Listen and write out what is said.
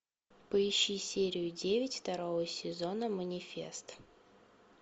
поищи серию девять второго сезона манифест